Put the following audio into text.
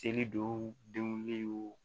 Seli dɔw denw